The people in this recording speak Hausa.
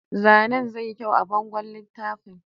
Zanen zai kyau a bangon littafin